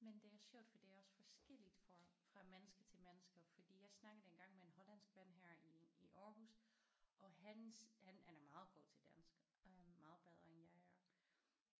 Men det er sjovt for det er også forskelligt for fra menneske til menneske fordi jeg snakkede engang med en hollandsk ven her i i Aarhus og hans han han er meget god til dansk øh meget bedre end jeg er